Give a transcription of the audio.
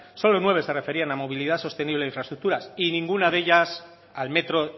solo nueve se referían a movilidad sostenible e infraestructuras y ninguna de ellas al metro